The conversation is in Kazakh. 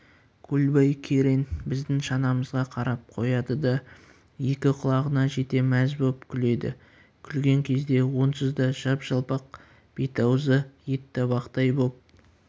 көлбай керең біздің шанамызға қарап қояды да екі құлағына жете мәз боп күледі күлген кезде онсыз да жап-жалпақ бет-аузы ет табақтай боп